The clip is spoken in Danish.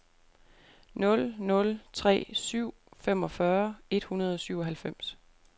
nul nul tre syv femogfyrre et hundrede og syvoghalvfems